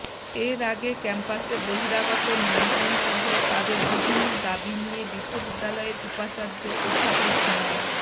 এর আগে ক্যাম্পাসে বহিরাগত নিয়ন্ত্রণসহ তাদের বিভিন্ন দাবি নিয়ে বিশ্ববিদ্যালয়ের উপাচার্য অধ্যাপক মো